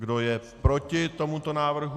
Kdo je proti tomuto návrhu?